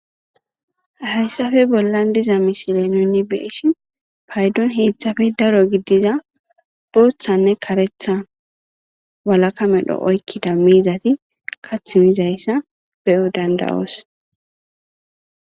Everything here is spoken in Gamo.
hayssafe bollan diza misile nuni beeshin paydon heeththafe daro giddida booththanne karetha walaka medho oykkida miizati kath miizayssa beyo dandawoos